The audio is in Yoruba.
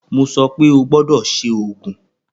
Mo sọ pe, o gbọdọ ṣe oogun!